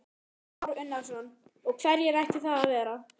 Kristján Már Unnarsson: Og hverjir ættu það að vera?